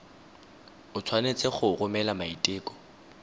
o tshwanetse go romela maiteko